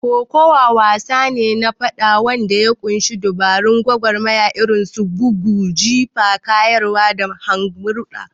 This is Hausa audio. Kokawa wasa ne na faɗa wanda ya ƙunshi dabarun gwagwarmaya irin su bugu, jifa, kayarwa, da mahangurba.